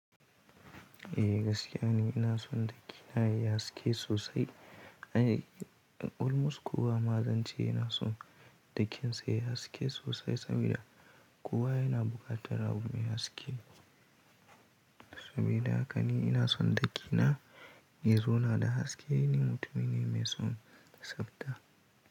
Eh gaskiya ne ina son daki na ya haske sosai. Olmos kuwa ma zan ce yana son dakinsa yayi haske sosai saboda kuwa yana buƙatar abu mai haske. Sabida haka ni ina son daki na ya zo na da haske. Ni mutumin ne mai son tsafta.